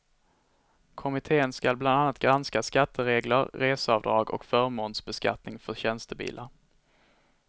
Kommittén skall bland annat granska skatteregler, reseavdrag och förmånsbeskattningen för tjänstebilar.